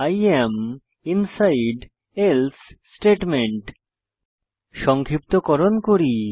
I am inside else statement সংক্ষিপ্তকরণ করি